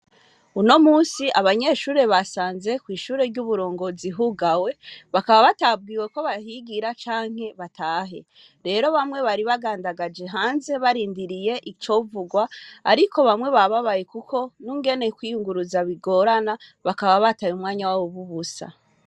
Uno munsi abanyeshure basaze kw'ishure ry'uburongozi hugawe bakaba batabwiwe ko batahigira canke ngo batahe, rero bamwe bari bagandagajwe hanze barindiriye ico mvurwa ariko bamwe bababaye kuko ningene kwiyuguruza bigorana bakaba bataye umwanya wabo ubusa.